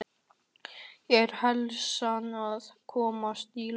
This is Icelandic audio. Er heilsan að komast í lag?